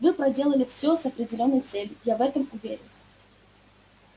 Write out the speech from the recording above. вы проделали всё с определённой целью я в этом уверен